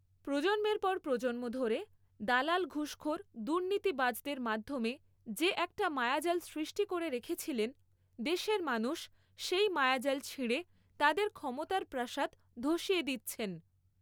প্রজন্মের পর প্রজন্ম ধরে দালাল ঘুষখোর দুর্নীতিবাজদের মাধ্যমে যে একটা মায়াজাল সৃষ্টি করে রেখেছিলেন, দেশের মানুষ সেই মায়াজাল ছিঁড়ে তাঁদের ক্ষমতার প্রাসাদ ধ্বসিয়ে দিচ্ছেন।